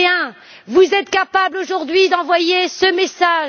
21. Vous êtes capables aujourd'hui d'envoyer ce message.